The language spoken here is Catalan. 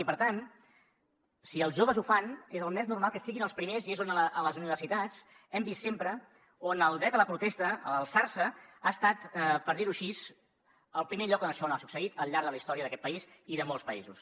i per tant si els joves ho fan és el més normal que siguin els primers i és a les universitats on hem vist sempre que el dret a la protesta a alçar se ha estat per dir ho així el primer lloc on això ha succeït al llarg de la història d’aquest país i de molts països